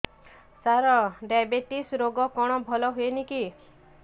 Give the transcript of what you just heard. ସାର diabetes ରୋଗ କଣ ଭଲ ହୁଏନି କି